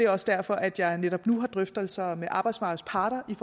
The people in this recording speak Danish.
også derfor at jeg netop nu har drøftelser med arbejdsmarkedets parter om